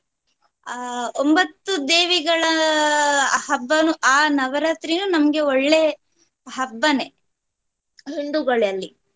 ಅಹ್ ಒಂಬತ್ತು ದೇವಿಗಳ ಆ ಹಬ್ಬನು ಆ ನವರಾತ್ರಿನು ನಮ್ಗೆ ಒಳ್ಳೆ ಹಬ್ಬನೆ ಹಿಂದುಗಳಲ್ಲಿ.